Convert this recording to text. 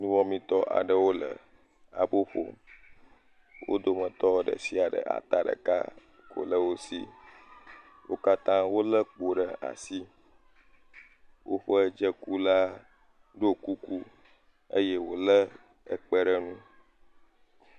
Nuwɔmetɔ aɖewo le abo ƒom, wo dometɔ ɖe sia ɖe ata ɖeka ko le wo si. Wo katã wolé kpo ɖe asi. Woƒe dzekula ɖɔ kuku eye wòlé ekpe ɖe nu.